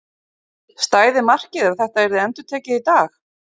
Stæði markið ef þetta yrði endurtekið í dag?